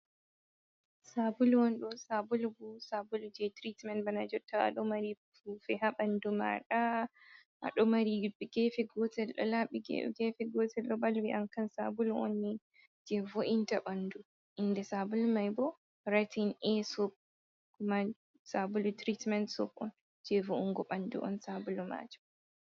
Sabulu on ɗo, sabulu bo sabulu je tiritment bana jotta ado mari fufe ha bandu maɗa do mari gefe gotel do labi gefe gotel ɗo balwi’am kan sabulu on ni je vo’inta bandu inde sabulu mai bo ratin a sokuma sabulu tiritment sop on je vo’ungo ɓandu on sabulu majum.